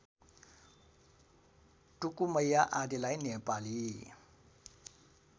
टुकुमैया आदिलाई नेपाली